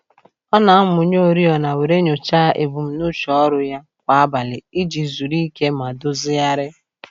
Ọ na-amụnye oriọna were nyocha ebumnuche ọrụ ya kwa abalị iji zuru ike ma dozighari.